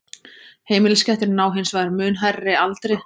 Heimiliskettir ná hins vegar mun hærri aldri.